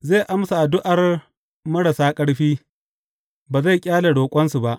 Zai amsa addu’ar marasa ƙarfi; ba zai ƙyale roƙonsu ba.